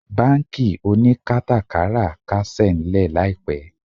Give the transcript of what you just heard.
Bánkì oníkátàkárà kásẹ̀ ńlẹ̀ láìpẹ́